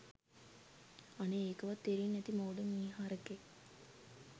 අනේ ඒකවත් තේරෙන්නේ නැති මෝඩ මීහරකෙක්